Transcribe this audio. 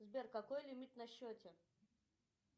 сбер какой лимит на счете